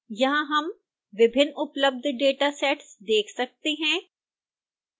यहां हम विभिन्न उपलब्ध datasets देख सकते हैं